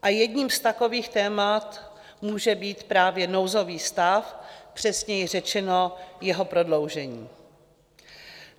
A jedním z takových témat může být právě nouzový stav, přesněji řečeno jeho prodloužení.